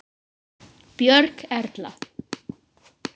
Björg Erla.